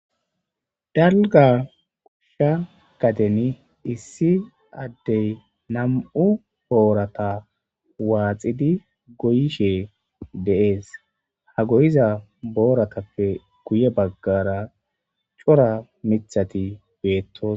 Dalga koshsha gaden issi addey nam7u boorata waaxidi goyishe deees ha goyiza booratappe guye baggara cora mithati beettos